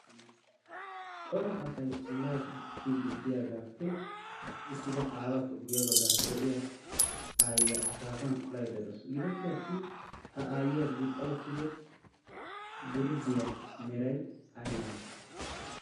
cora asay ollaa bookkii diddiyaagaappe hokki uttida aawaappe guyye baggaara de'iya aayyiyaa akaafan olaydda doos. gidoppe attin ha aayyiyaa gixxa uttido gurddiyaa meray ay malay